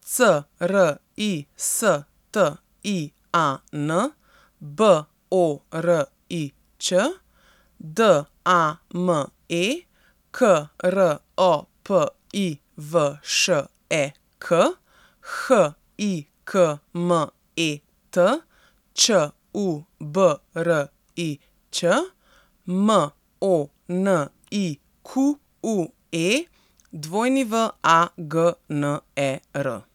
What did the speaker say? C R I S T I A N, B O R I Ć; D A M E, K R O P I V Š E K; H I K M E T, Č U B R I Ć; M O N I Q U E, W A G N E R.